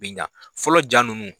Bi ɲa. Fɔlɔ ja nunnu